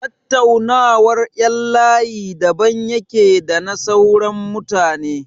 Tattaunawar ƴan layi daban yake da na sauran mutane.